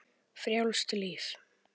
Frjálst líf.